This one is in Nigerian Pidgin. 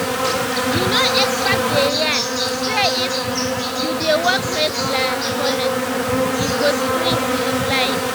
you know experts dey yarn say if um you dey walk regular honestly e go sweet your life.